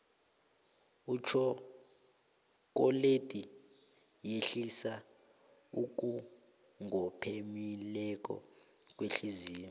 itjhokoledi yehlisa ukungophemeleli kwehliziyo